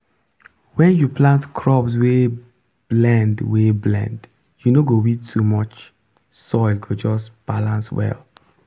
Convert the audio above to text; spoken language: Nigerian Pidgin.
when you plant crops wey blend wey blend you no go weed too much soil go just balance well.